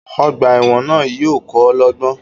Ogbà èwòn náà yío ko lógbón